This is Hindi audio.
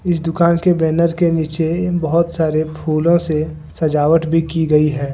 इस दुकान के बैनर नीचे बहोत सारे फूलों से सजावट भी की गई है।